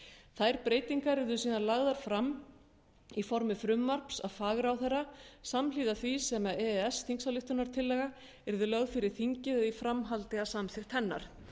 þær breytingar yrðu síðan lagðar fram í formi frumvarps af fagráðherra samhliða því sem e e s þingsályktunartillagan yrði lögð fyrir þingið eða í framhaldi af samþykkt hennar